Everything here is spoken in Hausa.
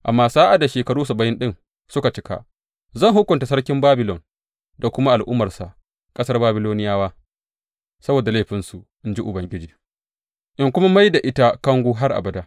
Amma sa’ad da shekaru saba’in ɗin suka cika, zan hukunta sarkin Babilon da kuma al’ummarsa, ƙasar Babiloniyawa, saboda laifinsu, in ji Ubangiji, in kuma mai da ita kango har abada.